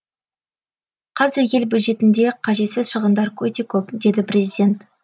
қазір ел бюджетінде қажетсіз шығындар өте көп деді президент